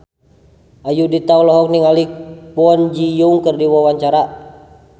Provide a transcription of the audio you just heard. Ayudhita olohok ningali Kwon Ji Yong keur diwawancara